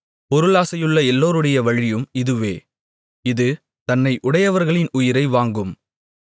பொருளாசையுள்ள எல்லோருடைய வழியும் இதுவே இது தன்னை உடையவர்களின் உயிரை வாங்கும்